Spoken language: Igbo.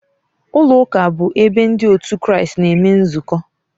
Ụlọụka bụ ebe ndị otu Kraịst na-eme nzukọ